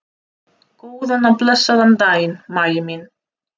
Góðan og blessaðan daginn, Maggi minn.